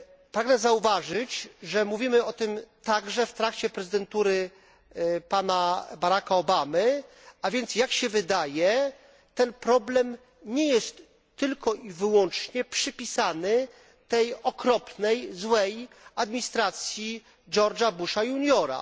Pragnę zauważyć, że mówimy o tym także w trakcie prezydentury pana Baracka Obamy, a więc jak się wydaje ten problem nie jest tylko i wyłącznie przypisany tej okropnej i złej administracji Georga Busha juniora.